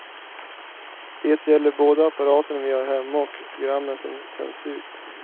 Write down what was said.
Det gäller både apparaterna vi har hemma och programmen som sänds ut.